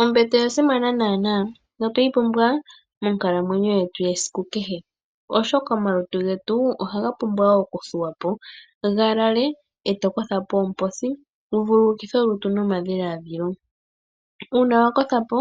Ombete oya simana noonkondo notweyi pumbwa monkalamwenyo yetu yesiku kehe, oshoka omalutu ohaga pumbwa okuthuwa po, ga lale e to kotha po oomposi wu vululukithe olutu nomadhiladhilo. Uuna wa kotha po